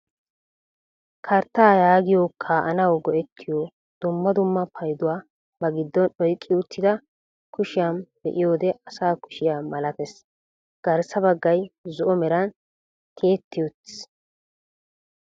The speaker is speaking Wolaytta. karttaa yaagiyoo kaa'anawu go"ettiyoo dumma dumma payduwaa ba giddon oyqqi uttida kushshiyaa be'iyoode asa kushshiyaa malatees. Garssa baggay zo"o meran tiyetti uttiis.